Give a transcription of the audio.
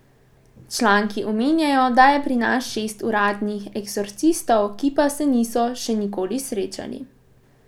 Članki omenjajo, da je pri nas šest uradnih eksorcistov, ki pa se niso še nikoli srečali.